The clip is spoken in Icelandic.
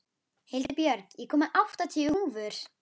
Hildibjörg, ég kom með áttatíu húfur!